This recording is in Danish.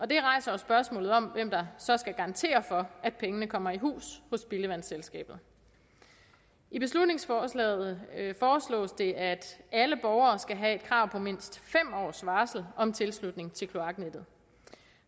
det rejser jo spørgsmålet om hvem der så skal garantere for at pengene kommer i hus hos spildevandsselskabet i beslutningsforslaget foreslås det at alle borgere skal have et krav på mindst fem års varsel om tilslutning til kloaknettet